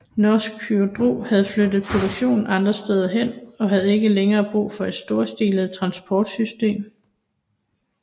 Norsk Hydro havde flyttet produktionen andre steder hen og havde ikke længere brug for et storstilet transportsystem